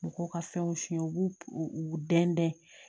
Mɔgɔw ka fɛnw f'i ye u b'u u u dɛn dɛn